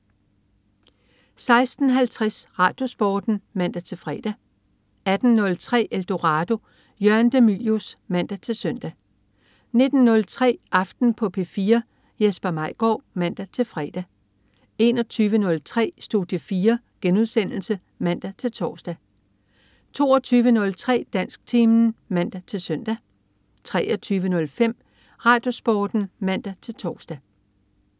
16.50 RadioSporten (man-fre) 18.03 Eldorado. Jørgen de Mylius (man-søn) 19.03 Aften på P4. Jesper Maigaard (man-fre) 21.03 Studie 4* (man-tors) 22.03 Dansktimen (man-søn) 23.05 RadioSporten (man-tors)